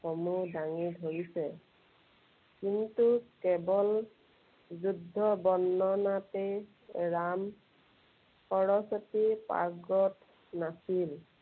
সমূহ দাঙি ধৰিছে। কিন্তু কেৱল যুদ্ধ বৰ্ণনাতেই ৰাম সৰস্বতী পাৰ্গত নাছিল।